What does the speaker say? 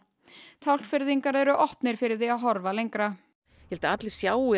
Tálknfirðingar eru opnir fyrir því að horfa lengra ég held að allir sjái að